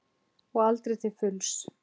Og aldrei til fulls.